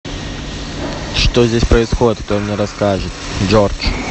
что здесь происходит кто мне расскажет джордж